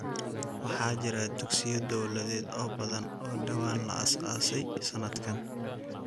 Waxa jira dugsiyo dawladeed oo badan oo dhawaan la aasaasay sanadkan.